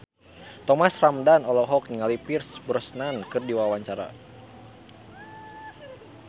Thomas Ramdhan olohok ningali Pierce Brosnan keur diwawancara